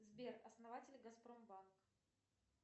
сбер основатель газпромбанк